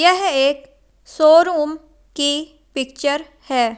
यह एक शोरूम की पिक्चर है।